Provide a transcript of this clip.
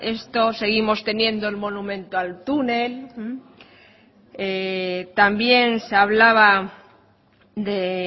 esto seguimos teniendo el monumento al túnel también se hablaba de